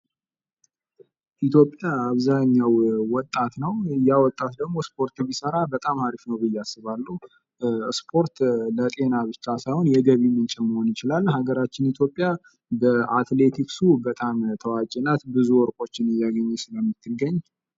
ኢትዮጵያ አብሃኛው ወጣት ነው። ወጣት ደጎ ስፖርት ቢሰራ በጣም አሪፍ ነው ብየ አስባለሁ ስፖርት ለጤና ብቻ ሳይሆን የገቢ ምንጭም መሆን ይችላል።